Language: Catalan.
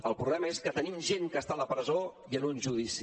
el problema és que tenim gent que està a la presó i en un judici